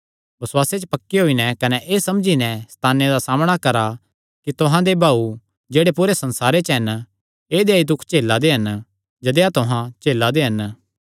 बसुआसे च पक्के होई नैं कने एह़ समझी नैं सैताने दा सामणा करा कि तुहां दे भाऊ जेह्ड़े पूरे संसारे च हन ऐदेया ई दुख झेला दे हन जदेया तुहां झेला दे हन